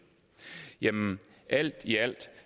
alt i alt